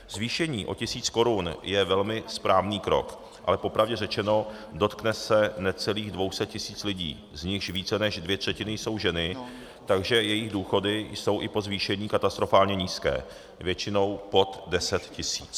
Zvýšení o tisíc korun je velmi správný krok, ale popravdě řečeno, dotkne se necelých 200 tisíc lidí, z nichž více než dvě třetiny jsou ženy, takže jejich důchody jsou i po zvýšení katastrofálně nízké, většinou pod 10 tisíc.